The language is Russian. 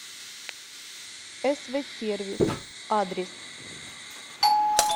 эсвэ сервис адрес